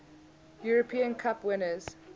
european cup winners